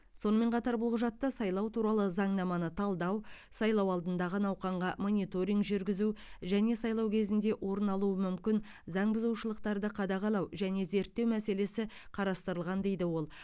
сонымен қатар бұл құжатта сайлау туралы заңнаманы талдау сайлау алдындағы науқанға мониторинг жүргізу және сайлау кезінде орын алуы мүмкін заңбұзушылықтарды қадағалау және зерттеу мәселесі қарастырылған дейді ол